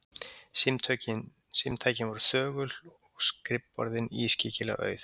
Símtækin voru þögul og skrifborðin ískyggilega auð.